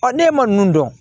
ne ma ninnu dɔn